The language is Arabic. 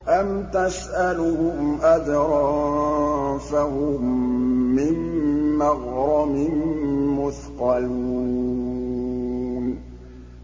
أَمْ تَسْأَلُهُمْ أَجْرًا فَهُم مِّن مَّغْرَمٍ مُّثْقَلُونَ